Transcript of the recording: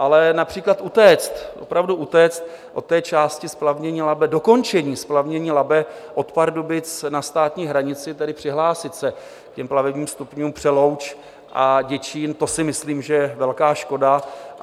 Ale například utéct, opravdu utéct od té části splavnění Labe, dokončení splavnění Labe od Pardubic na státní hranici, tedy přihlásit se k plavebním stupňům Přelouč a Děčín, to si myslím, že je velká škoda.